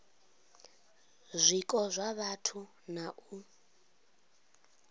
zwiko zwa vhathu na u